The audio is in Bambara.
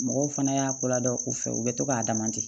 Mɔgɔw fana y'a ko ladɔn u fɛ u bɛ to k'a dama ten